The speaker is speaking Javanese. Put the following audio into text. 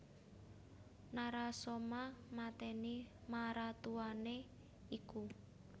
Narasoma matèni maratuwané iku